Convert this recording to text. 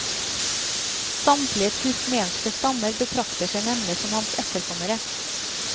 Samtlige turkmenske stammer betrakter seg nemlig som hans etterkommere.